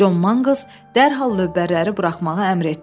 John Mangles dərhal lövbərləri buraxmağa əmr etdi.